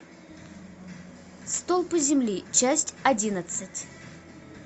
столпы земли часть одиннадцать